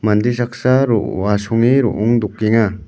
mande saksa ro-asonge ro·ong dokenga.